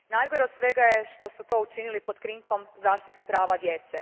Najgore od svega je što su to učinili pod krinkom zaštite prava djece.